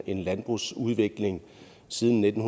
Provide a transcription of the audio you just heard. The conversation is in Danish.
en landbrugsudvikling siden nitten